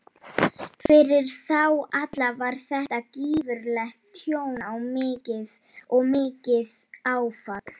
Fyrir þá alla var þetta gífurlegt tjón og mikið áfall.